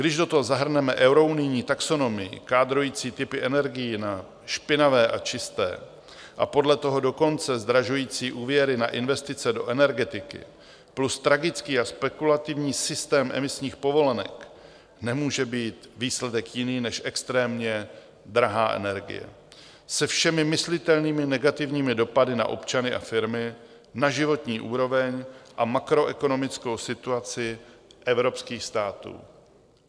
Když do toho zahrneme eurounijní taxonomii kádrující typy energií na špinavé a čisté, a podle toho dokonce zdražující úvěry na investice do energetiky, plus tragický a spekulativní systém emisních povolenek, nemůže být výsledek jiný než extrémně drahá energie se všemi myslitelnými negativními dopady na občany a firmy, na životní úroveň a makroekonomickou situaci evropských států.